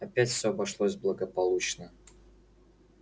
опять все обошлось благополучно